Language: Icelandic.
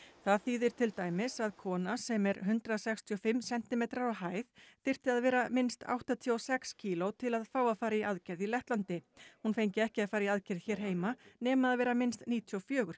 það þýðir til dæmis að kona sem er hundrað sextíu og fimm sentimetrar á hæð þyrfti að vera minnst áttatíu og sex kíló til að fá að fara í aðgerð í Lettlandi hún fengi ekki að fara í aðgerð hér heima nema að vera minnst níutíu og fjögur